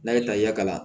N'a ye taa i ka kalan